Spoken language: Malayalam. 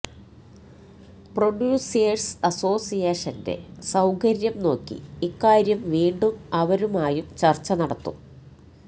പ്രൊഡ്യൂസേഴ്സ് അസോസിയേഷന്റെ സൌകര്യം നോക്കി ഇക്കാര്യം വീണ്ടും അവരുമായും ചർച്ച നടത്തും